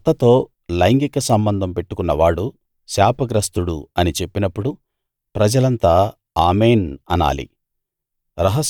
తన అత్తతో లైంగిక సంబంధం పెట్టుకున్నవాడు శాపగ్రస్తుడు అని చెప్పినప్పుడు ప్రజలంతా ఆమేన్‌ అనాలి